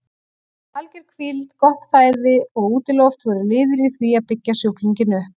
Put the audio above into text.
Alger hvíld, gott fæði og útiloft voru liðir í því að byggja sjúklinginn upp.